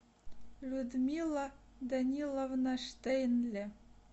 людмила даниловна штенле